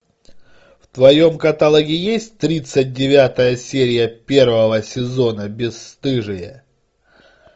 в твоем каталоге есть тридцать девятая серия первого сезона бесстыжие